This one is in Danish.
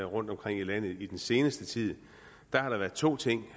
rundtomkring i landet i den seneste tid at der har været to ting